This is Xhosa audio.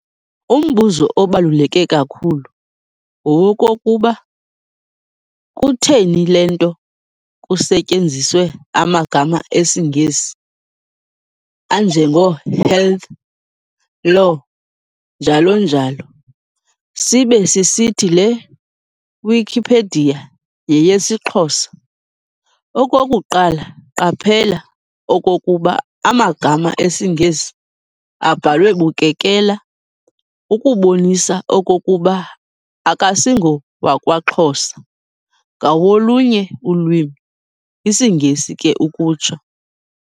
Umbuzo obaluleke kakhulu ngowokokuba, kutheni le nto kusetyenziswe amagama esiNgesi anjengo-"Health", "Law", njalo njalo, sibe sisithi le "Wikipedia" yeyesiXhosa. Okokuqala qaphela okokuba amagama esingesi abhalwe bukekela ukubonisa okokuba akasingowakwaXhosa ngawolunye ulwimi, isiNgesi ke ukutsho.